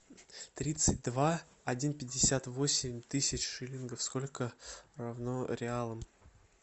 тридцать два один пятьдесят восемь тысяч шиллингов сколько равно реалам